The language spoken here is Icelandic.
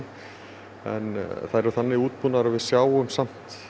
þær eru þannig útbúnar að við sjáum samt